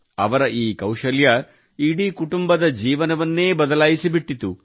ಅವರ ಈ ಕೌಶಲ್ಯ ಇಡೀ ಕುಟುಂಬದ ಜೀವನವನ್ನೇ ಬದಲಾಯಿಸಿಬಿಟ್ಟಿತು